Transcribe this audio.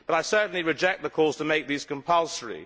But I certainly reject the calls to make these compulsory.